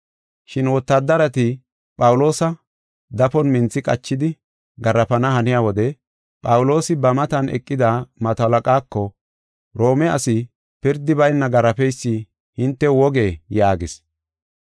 Shin wotaadareti Phawuloosa dafon minthi qachidi garaafana haniya wode Phawuloosi ba matan eqida mato halaqaako, “Roome asi pirdi bayna garaafeysi hintew wogee?” yaagis.